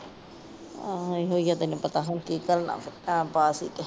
ਆਹੋ ਇਹੀ ਨਹੀ ਪਤਾ ਹੁਣ ਕਿ ਘੱਲਣਾ ਟਾਇਮ ਪਾਸ ਹੀ ਤੇ।